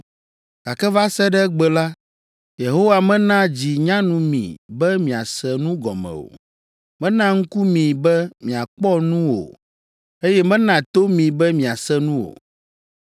gake va se ɖe egbe la, Yehowa mena dzi nyanu mi be miase nu gɔme o, mena ŋku mi be miakpɔ nu o, eye mena to mi be miase nu o!